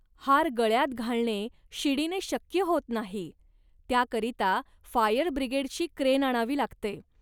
हार गळ्यात घालणे शिडीने शक्य होत नाही. त्याकरिता फायर ब्रिगेडची क्रेन आणावी लागते